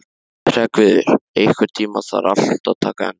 Hreggviður, einhvern tímann þarf allt að taka enda.